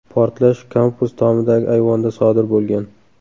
Portlash kampus tomidagi ayvonda sodir bo‘lgan.